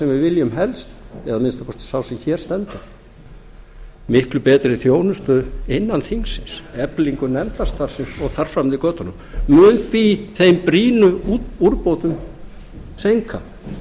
sem við viljum helst eða að minnsta kosti sá sem hér stendur miklu betri þjónustu innan þingsins eflingu nefndastarfsins og þar fram eftir götunum mun því þeim brýnu úrbótum seinkað